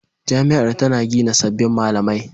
Jami'ar tana gina sabbin malamai.